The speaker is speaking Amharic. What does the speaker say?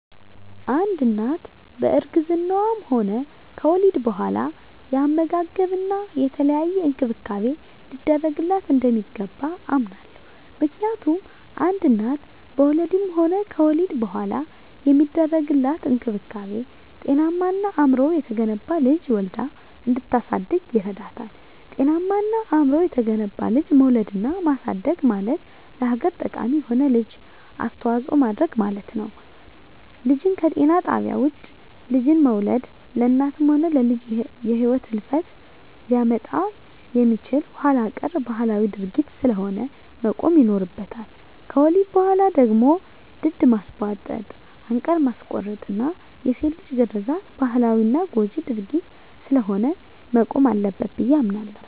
አንድ እናት በእርግዝናዋም ሆነ ከወሊድ በኋላ የአመጋገብና የተለያየ እንክብካቤ ሊደረግላት እንደሚገባ አምናለሁ። ምክንያቱም አንድ እናት በወሊድም ሆነ ከወሊድ በኋላ የሚደረግላት እንክብካቤ ጤናማና አእምሮው የተገነባ ልጅ ወልዳ እንድታሳድግ ይረዳታል። ጤናማና አእምሮው የተገነባ ልጅ መውለድና ማሳደግ ማለት ለሀገር ጠቃሚ የሆነ ልጅ አስተዋጽኦ ማድረግ ማለት ስለሆነ። ልጅን ከጤና ጣቢያ ውጭ ልጅን መውለድ ለእናትም ሆነ ለልጅ የህልፈተ ሂወት ሊያመጣ የሚችል ኋላቀር ባህላዊ ድርጊት ስለሆነ መቆም ይኖርበታል። ከወሊድ በኋላ ደግሞ ድድ ማስቧጠጥ፣ አንቃር ማስቆረጥና የሴት ልጅ ግርዛት ባህላዊና ጎጅ ድርጊት ስለሆነ መቆም አለበት ብየ አምናለሁ።